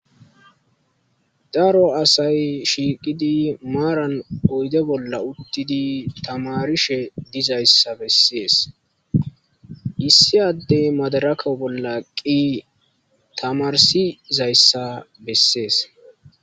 daro asay shiiqidi maaran oyde bolla uttidi tamarishe dizayssa bessees issi addey madarako bolla qqi tamarsi zayssa bessees